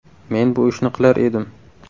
Men bu ishni qilar edim”.